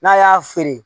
N'a y'a feere